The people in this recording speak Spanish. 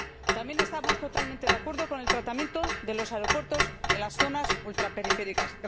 También estamos totalmente de acuerdo con el tratamiento de los aeropuertos en las zonas ultraperiféricas.